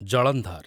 Jalandhar